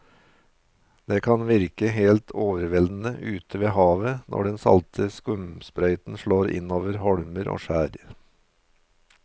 Det kan virke helt overveldende ute ved havet når den salte skumsprøyten slår innover holmer og skjær.